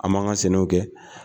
An man ka senw kɛ.